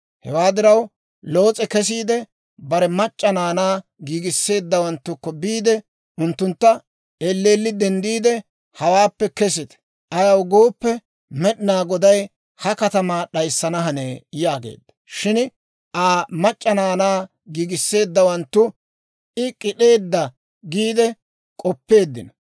Hewaa diraw Loos'e kesiide, bare mac'c'a naanaa giigisseeddawanttukko biide unttuntta, «Elleelli denddiide hawaappe kesite; ayaw gooppe, Med'inaa Goday ha katamaa d'ayssana hanee» yaageedda. Shin Aa mac'c'a naanaa giigisseeddawanttu I k'id'd'eedda giide k'oppeeddino.